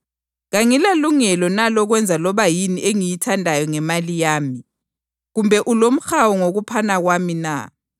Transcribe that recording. Kangilalungelo na lokwenza loba yini engiyithandayo ngemali yami? Kumbe ulomhawu ngokuphana kwami na?’